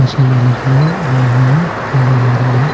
Machine लेने के लिए आए हुए हैं नजर आ रहे हैं.